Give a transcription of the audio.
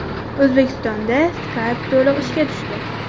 O‘zbekistonda Skype to‘liq ishga tushdi.